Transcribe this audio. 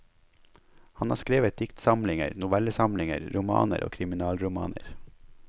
Han har skrevet diktsamlinger, novellesamlinger, romaner og kriminalromaner.